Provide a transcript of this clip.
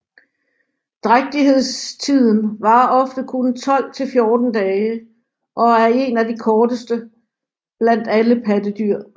Drægtighedstiden varer ofte kun 12 til 14 dage og er en af de korteste blandt alle pattedyr